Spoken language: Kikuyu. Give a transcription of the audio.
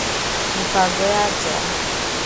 Mĩbango ya nja: